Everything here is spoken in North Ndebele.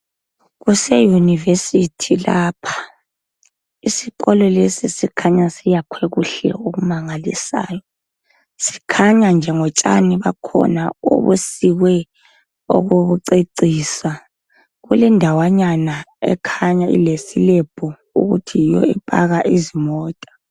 Kuseyunivesithi lapha isikolo lesi sikhanya siyakhwe kuhle okumangalisayo. Sikhanya nje ngotshani bakhona obusikwe okokucecisa. Kulendawanyans ekhanya ilesilebhu ukuthi yiyo epaka izimota.